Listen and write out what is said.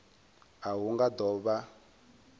a hu nga do vha